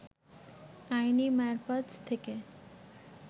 আইনি মারপ্যাঁচ থেকে